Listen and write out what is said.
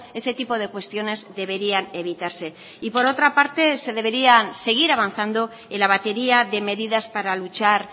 ese tipo de cuestiones deberían evitarse y por otra parte se deberían seguir avanzando en la batería de medidas para luchar